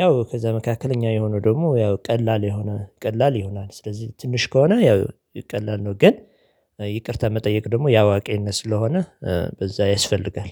ያው ከዛ መካከል እኛ የሆነው ደግሞ ያው ቀላል የሆነ ቀላል ይሆናል ስለዚህ ትንሽ ከሆነ ያው ቀላል ነው። ግን ይቅርታ መጠየቅ ደግሞ የአዋቂነት ስለሆነ በዛ ያስፈልጋል